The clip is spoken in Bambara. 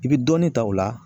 I bi dɔnni ta o la